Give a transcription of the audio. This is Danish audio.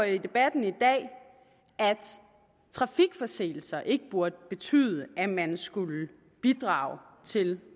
i debatten i dag at trafikforseelser ikke burde betyde at man skulle bidrage til